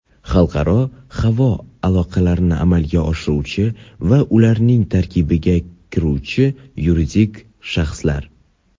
xalqaro havo aloqalarini amalga oshiruvchi va ularning tarkibiga kiruvchi yuridik shaxslar.